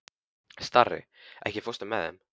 Starri, ekki fórstu með þeim?